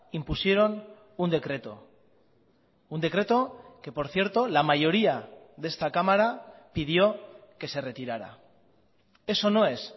impusieron un decreto un decreto que por cierto la mayoría de esta cámara pidió que se retirara eso no es